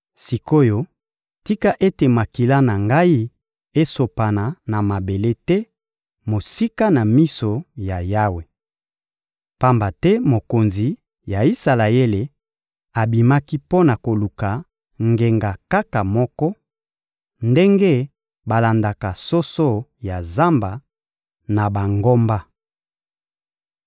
Sik’oyo, tika ete makila na ngai esopana na mabele te, mosika na miso ya Yawe! Pamba te mokonzi ya Isalaele abimaki mpo na koluka ngenga kaka moko, ndenge balandaka soso ya zamba, na bangomba.